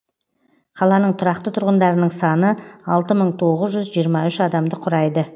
қаланың тұрақты тұрғындарының саны алты мың тоғыз жүз жиырма үш адамды құрайды